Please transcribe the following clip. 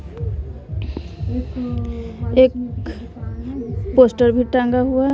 एक पोस्टर भी टंगा हुआ है।